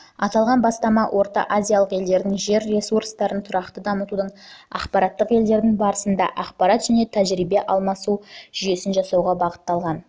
аталған бастама орталық азия елдерінің жер ресурстарын тұрақты дамытудың ақпараттық елдер арасында ақпарат және тәжірибе алмасу жүйесін жасауға бағытталған